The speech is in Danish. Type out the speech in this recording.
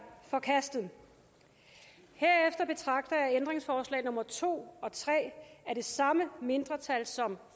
forkastet herefter betragter jeg ændringsforslag nummer to og tre af det samme mindretal som